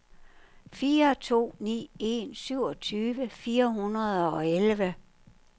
fire to ni en syvogtyve fire hundrede og elleve